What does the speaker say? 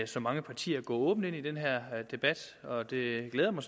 så mange partier går åbent ind i den her debat og det glæder mig